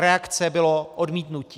Reakcí bylo odmítnutí.